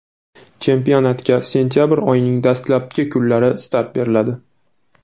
Chempionatga sentabr oyining dastlabki kunlarida start beriladi.